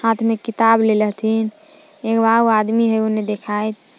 हाथ में किताब लेले हथिन् एगो आउर आदमी हइ ओने देखात।